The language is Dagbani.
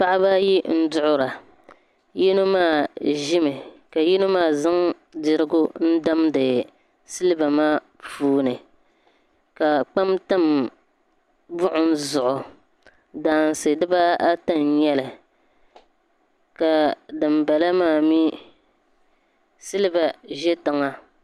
Paɣaba ayi n duɣura yino maa ʒimi ka yino maa zaŋ dirigu n damdi siliba maa puuni ka kpam tam buɣim zuɣu daansi dibaata n nyɛli ka dimbala maa mee siliba ʒɛ tiŋa.